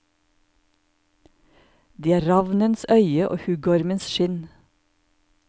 Det er ravnens øye og huggormens skinn.